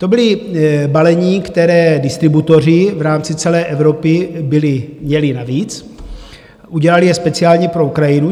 To byla balení, která distributoři v rámci celé Evropy měli navíc, udělali je speciálně pro Ukrajinu.